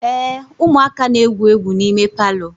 ee, ụmụaka na-egwu egwu n'ime palọ